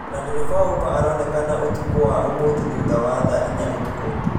ona ndereva wa ũba ĩronekana ũtũkuu wa ũmũthĩ thũtha wa thaa inya ũtũku